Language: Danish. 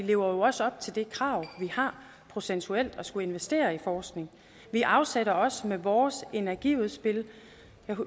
jo også op til det krav vi har procentuelt om at skulle investere i forskning vi afsætter også med vores energiudspil